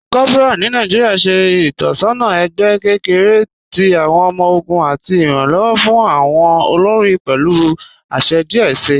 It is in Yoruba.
Kòpọra ni Nàìjíríà ṣẹ̀ itọsọna ẹgbẹ̀ kẹkẹ̀rẹ̀ tì awọn ọmọ-ọgùn àti iranlọwọ fún awọn olórí pẹ̀lú àṣẹ̀ díẹ̀ sí.